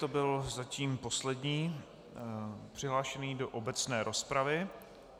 To byl zatím poslední přihlášený do obecné rozpravy.